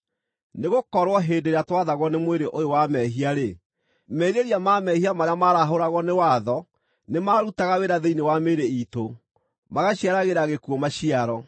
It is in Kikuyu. Nĩgũkorwo hĩndĩ ĩrĩa twathagwo nĩ mwĩrĩ ũyũ wa mehia-rĩ, merirĩria ma mehia marĩa maarahũragwo nĩ watho nĩmarutaga wĩra thĩinĩ wa mĩĩrĩ iitũ, magaciaragĩra gĩkuũ maciaro.